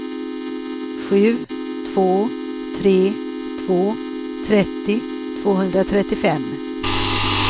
sju två tre två trettio tvåhundratrettiofem